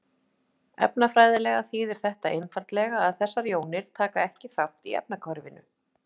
Efnafræðilega þýðir þetta einfaldlega að þessar jónir taka ekki þátt í efnahvarfinu.